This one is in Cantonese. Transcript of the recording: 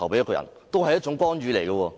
某位候選人，也是一種干預。